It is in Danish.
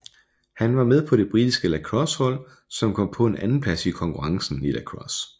Han var med på det britiske lacrossehold som kom på en andenplads i konkurrencen i lacrosse